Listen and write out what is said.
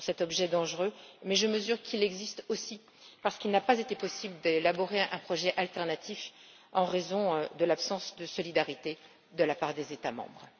Je mesure toutefois qu'il existe aussi parce qu'il n'a pas été possible d'élaborer un projet alternatif en raison de l'absence de solidarité de la part des États membres.